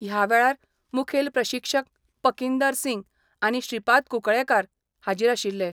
ह्या वेळार मुखेल प्रशिक्षक पकिंदर सिंग आनी श्रीपाद कुंकळयेंकार हाजीर आशिल्ले.